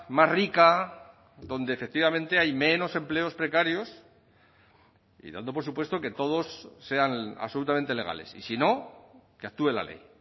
más rica donde efectivamente hay menos empleos precarios y dando por supuesto que todos sean absolutamente legales y si no que actúe la ley